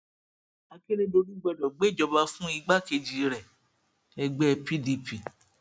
akérèdọlù gbọdọ gbéjọba fún igbákejì rẹẹgbẹ pdp